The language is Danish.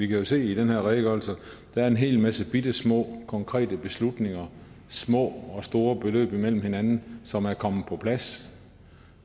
jo se i den her redegørelse at der er en hel masse bittesmå konkrete beslutninger små og store beløb imellem hinanden som er kommet på plads